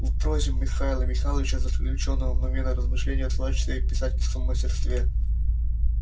в прозе михаила михайловича заключёно много размышлений о творчестве и писательском мастерстве